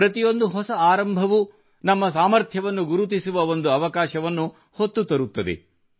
ಪ್ರತಿಯೊಂದು ಹೊಸ ಆರಂಭವೂ ನಮ್ಮ ಸಾಮರ್ಥ್ಯವನ್ನು ಗುರುತಿಸುವ ಒಂದು ಅವಕಾಶವನ್ನು ಹೊತ್ತು ತರುತ್ತದೆ